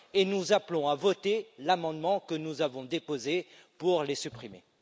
Nous appelons à voter l'amendement que nous avons déposé pour les supprimer.